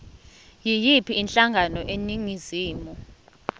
yiyiphi inhlangano eningizimu